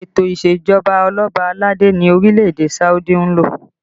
Ètò isejọba oloba aládé ni orílẹ̀ èdè Saudi ń lò